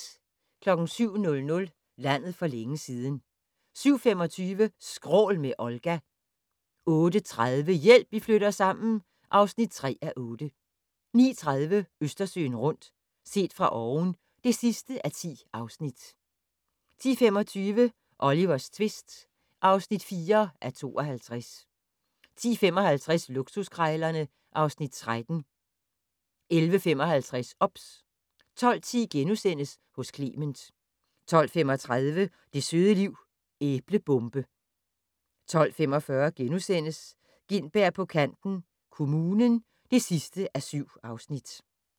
07:00: Landet for længe siden 07:25: Skrål med Olga 08:30: Hjælp, vi flytter sammen (3:8) 09:30: Østersøen rundt - set fra oven (10:10) 10:25: Olivers tvist (4:52) 10:55: Luksuskrejlerne (Afs. 13) 11:55: OBS 12:10: Hos Clement * 12:35: Det søde liv - Æblebombe 12:45: Gintberg på kanten - Kommunen (7:7)*